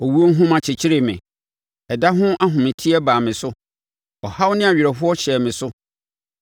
Owuo nhoma kyekyeree me, ɛda ho ahometeɛ baa me so, ɔhaw ne awerɛhoɔ hyɛɛ me so.